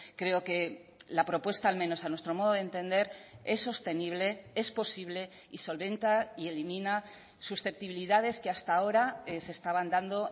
creo que la propuesta al menos a nuestro modo de entender es sostenible es posible y solventa y elimina susceptibilidades que hasta ahora se estaban dando